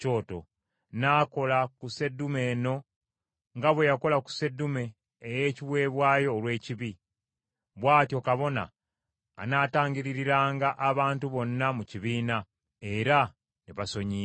n’akola ku sseddume eno nga bwe yakola ku sseddume ey’ekiweebwayo olw’ekibi. Bw’atyo kabona anaatangiririranga abantu bonna mu kibiina, era ne basonyiyibwa.